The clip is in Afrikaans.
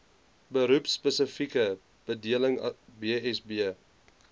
beroepspesifieke bedeling bsb